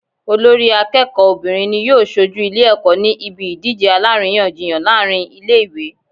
Olórí akéèkó obìnrin ni yóò sojú Ilé èkó ní ibi ìdíje aláríyànjiyàn láàrin Ilé ìwé